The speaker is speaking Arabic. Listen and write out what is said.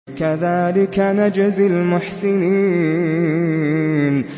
كَذَٰلِكَ نَجْزِي الْمُحْسِنِينَ